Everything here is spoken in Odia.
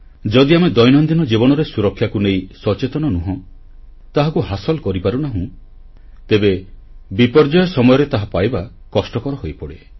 ଯଦି ଆମେ ଦୈନନ୍ଦିନ ଜୀବନରେ ସୁରକ୍ଷାକୁ ନେଇ ସଚେତନ ନୁହେଁ ତାହାକୁ ହାସିଲ କରିପାରୁନାହୁଁ ତେବେ ବିପର୍ଯ୍ୟୟ ସମୟରେ ତାହା ପାଇବା କଷ୍ଟକର ହୋଇପଡ଼େ